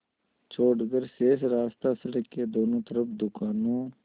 छोड़कर शेष रास्ता सड़क के दोनों तरफ़ दुकानों